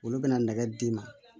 Olu bɛna nɛgɛ d'i ma